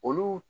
Olu